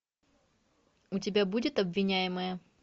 у тебя будет обвиняемая